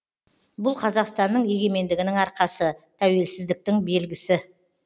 бұл қазақстанның егемендігінің арқасы тәуелсіздіктің белгісі